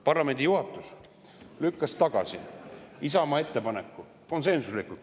Parlamendi juhatus lükkas tagasi Isamaa ettepaneku, kahjuks konsensuslikult.